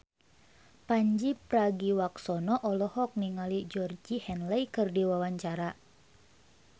Pandji Pragiwaksono olohok ningali Georgie Henley keur diwawancara